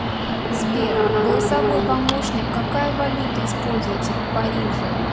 сбер голосовой помощник какая валюта используется в париже